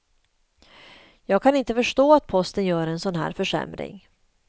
Jag kan inte förstå att posten gör en sådan här försämring.